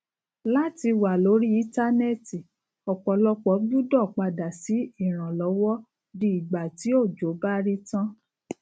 láti wá lórí íntánẹti ọpọlọpọ gbúdọ padà sí ìranlọwọ di ìgbà tí òjò bá rí tán